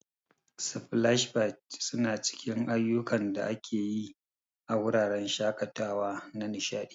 Splash pads suna cikin ayukan da ake yi a wuraren shakatawa na nishadi.